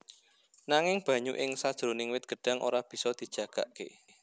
Nanging banyu ing sajroning wit gêdhang ora bisa dijagakké